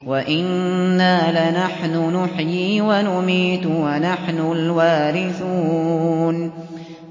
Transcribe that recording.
وَإِنَّا لَنَحْنُ نُحْيِي وَنُمِيتُ وَنَحْنُ الْوَارِثُونَ